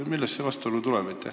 Millest see tuleb?